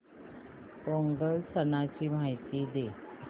पोंगल सणाची माहिती दे